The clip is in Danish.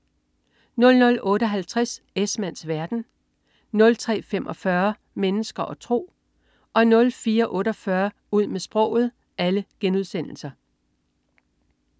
00.58 Esmanns verden* 03.45 Mennesker og tro* 04.48 Ud med sproget*